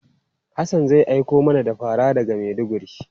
Hassan zai aiko mana da fara daga Maiduguri.